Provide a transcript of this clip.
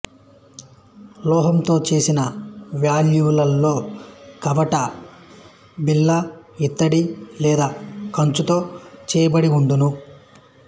లోహంతో చేసిన వాల్వులలో కవాట బిళ్ళ ఇత్తడి లేదా కంచుతో చెయ్యబడి వుండును